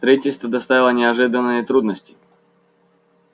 строительство доставило неожиданные трудности